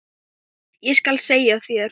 Ég skal segja þér